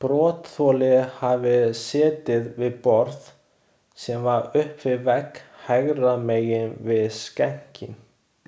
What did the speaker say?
Brotaþoli hafi setið við borð, sem var upp við vegg hægra megin við skenkinn.